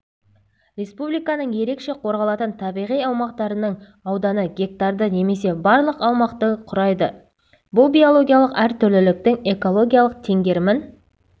республиканың ерекше қорғалатын табиғи аумақтарының ауданы гектарды немесе барлық аумақтың құрайды бұл биологиялық әртүрліліктің экологиялық теңгерімін